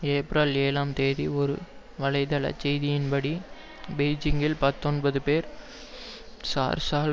April ஏழாம் தேதி ஒரு வலைத்தளச் செய்தியின்படி பெய்ஜிங்கில் பத்தொன்பது பேர் சார்ஸால்